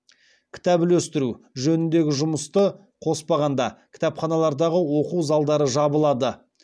кітап үлестіру жөніндегі жұмысты қоспағанда кітапханалардағы оқу залдары жабылады